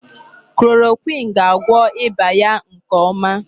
Chloroquine ga-agwọ ịba ya nke ọma.